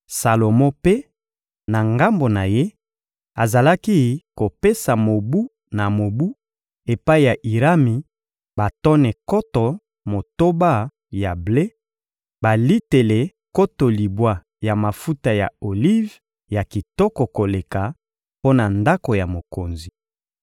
Salomo mpe, na ngambo na ye, azalaki kopesa mobu na mobu epai ya Irami batone nkoto motoba ya ble, balitele nkoto libwa ya mafuta ya olive ya kitoko koleka, mpo na ndako ya mokonzi.